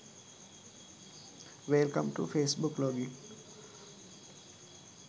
wellcome to face book log in